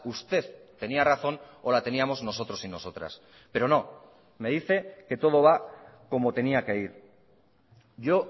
usted tenía razón o la teníamos nosotros y nosotras pero no me dice que todo va como tenía que ir yo